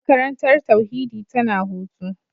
Makarantar tauhidi tana hutu.